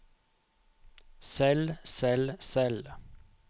selv selv selv